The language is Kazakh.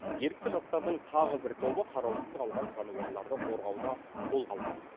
ерікті жастардың тағы бір тобы қараусыз қалған жануарларды қорғауды қолға алған